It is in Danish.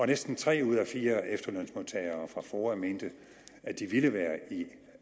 næsten tre ud af fire efterlønsmodtagere fra foa mente at de ville være i